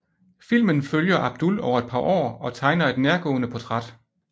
Filmen følger Abdul over et par år og tegner et nærgående portræt